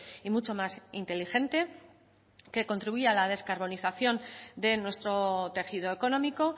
y mucho más inteligente que contribuya a la descarbonización de nuestro tejido económico